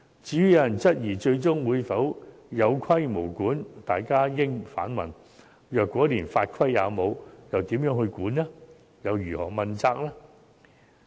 至於有人質疑最終會否有規無管，大家應反問，如果連法規也沒有，試問如何監管和如何問責？